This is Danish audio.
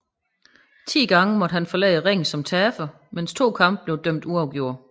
Ti gange måtte han forlade ringen som taber mens 2 kampe blev dømt uafgjort